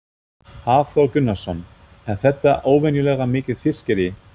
Hafþór Gunnarsson: Er þetta óvenjulega mikið fiskirí?